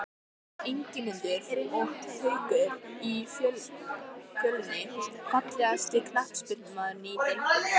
Ingimundur og Haukur í Fjölni Fallegasti knattspyrnumaðurinn í deildinni?